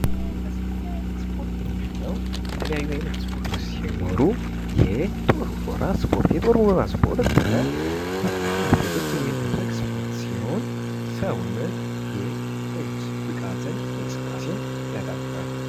ስፖርት የአካላዊ ብቃት፣ ችሎታና ደንብን መሰረት ያደረገ የውድድር እንቅስቃሴ ሲሆን ለመዝናናት፣ ለጤናና ለማህበራዊ ግንኙነት ጠቃሚ ነው።